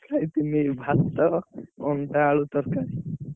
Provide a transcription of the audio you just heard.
ଖାଇଥିଲି ଭାତ, ଅଣ୍ଡା ଆଳୁ ତରକାରୀ।